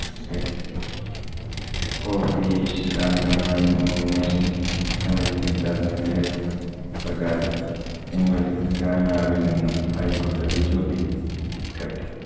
official അംഗമായി nomination സംബന്ധിച്ച പ്രകാരം പിന്‍വലിക്കാനാവില്ലെന്നും ഹൈ കോടതി ചൂണ്ടി കാട്ടി.